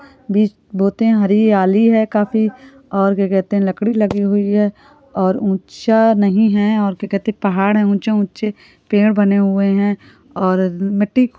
बीज बोते है हरी याली है काफी और क्या कहते है लकड़ी लगी हुई है और ऊँचा नहीं है और क्या कहते है पहाड़ है ऊँचे ऊँचे पेड़ बने हुए है और मिट्टी --